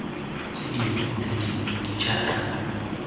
tse dingwe tse dintsi jaaka